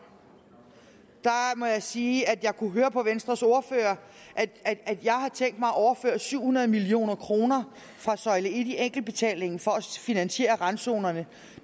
må jeg sige at jeg kunne høre på venstres ordfører at jeg har tænkt mig at overføre syv hundrede million kroner fra søjle en i enkeltbetalingen for at finansiere randzonerne